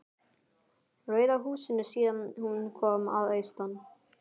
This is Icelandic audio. Rauða húsinu síðan hún kom að austan.